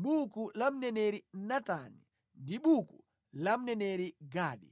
mʼbuku la mneneri Natani ndi mʼbuku la mneneri Gadi,